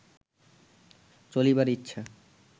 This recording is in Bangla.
চলিবার ইচ্ছা